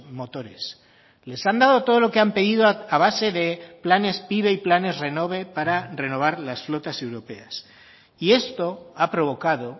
motores les han dado todo lo que han pedido a base de planes pive y planes renove para renovar las flotas europeas y esto ha provocado